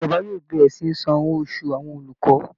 Ìjọba yóò bẹ̀rẹ̀ sí san owó oṣù àwọn olùkọ́